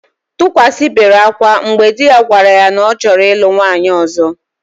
Tukwasị bere akwa mgbe di ya gwara ya na ọ chọrọ ịlụ nwaanyị ọ̀zọ́.